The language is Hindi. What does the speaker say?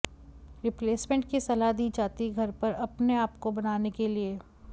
रिप्लेसमेंट की सलाह दी जाती घर पर अपने आप को बनाने के लिए